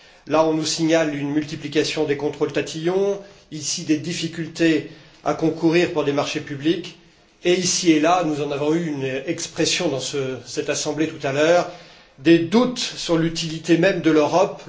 Là, on nous signale une multiplication des contrôles tatillons, ici des difficultés à concourir pour des marchés publics, et ici et là nous en avons eu une expression dans cette assemblée tout à l'heure des doutes sur l'utilité même de l'Europe.